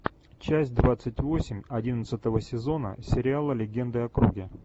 часть двадцать восемь одиннадцатого сезона сериала легенды о круге